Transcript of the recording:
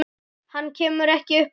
Hann kemur ekki upp orði.